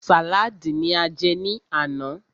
Sàlaadi ní a jẹ ní àná.